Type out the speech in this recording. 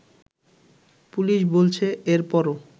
police বলছে এর পরও